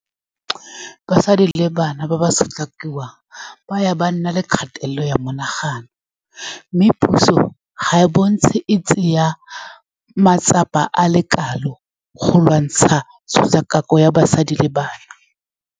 Basadi le bana ba ba sotlakakiwang ba ya ba nna le kgatelelo ya monagano, mme puso ga e bontshe e tsaye matsapa a lekwalo go lwantsha tshotlakako ya basadi le bana.